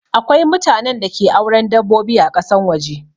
Akwai mutanen da ke auren dabbobi ã kasan waje.